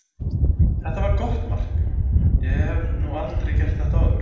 Þetta var gott mark, ég hef nú aldrei gert þetta áður.